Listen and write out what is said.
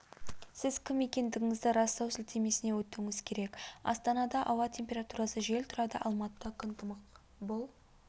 сіз кім екендігіңізді растау сілтемесіне өтуіңіз керек астанада ауа температурасы жел тұрады алматыда күн тымық бұл